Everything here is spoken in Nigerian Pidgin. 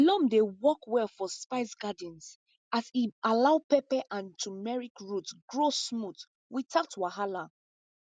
loam dey work well for spice gardens as e allow pepper and turmeric root grow smooth without wahala